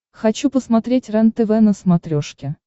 хочу посмотреть рентв на смотрешке